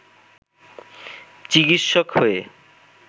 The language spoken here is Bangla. চিকিৎসক হয়ে